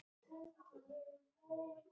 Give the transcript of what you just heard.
Finna fyrir faðmlagi einhvers og stuðningi.